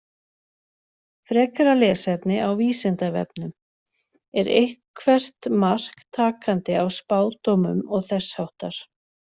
Frekara lesefni á Vísindavefnum: Er eitthvert mark takandi á spádómum og þess háttar?